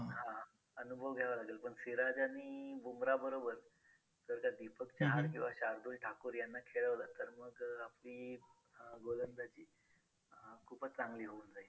हां हां अनुभव घ्यावा लागेल पण सिराज आणि बुमराह बरोबर जर त्या दीपक चहार किंवा शार्दूल ठाकूर यांना खेळवलं तर मग आपली अं गोलंदाजी अं खूपच चांगली होऊन जाईल.